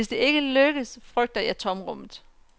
Hvis det ikke lykkes, frygter jeg tomrummet.